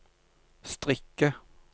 strikke